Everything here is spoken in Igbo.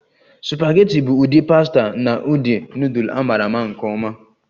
Supageti bụ ụdị pasta na ụdị nudul a maara nke ọma